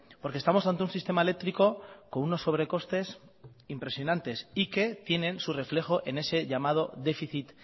porque estamos ante un sistema eléctrico con unos sobrecostes impresionantes y que tienen su reflejo en ese llamado déficit